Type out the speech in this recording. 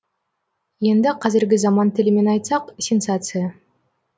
енді қазіргі заман тілімен айтсақ сенсация